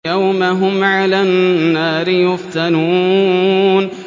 يَوْمَ هُمْ عَلَى النَّارِ يُفْتَنُونَ